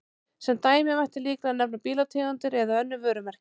Sem dæmi mætti líklega nefna bílategundir eða önnur vörumerki.